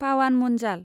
Pawan Munjal